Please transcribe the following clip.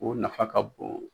o nafa ka bon.